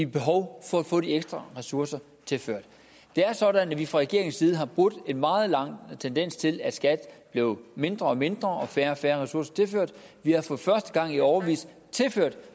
behov for at få de ekstra ressourcer tilført det er sådan at vi fra regeringens side har brudt en meget lang tendens til at skat blev mindre og mindre og fik færre og færre ressourcer tilført vi har for første gang i årevis tilført